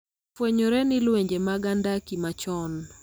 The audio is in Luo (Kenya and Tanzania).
Osefwenyore ni lwenje mag andaki machon,